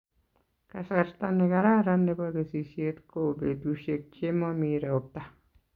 Kasarta ne kararan nebo kesisishet ko petushek che mami ropta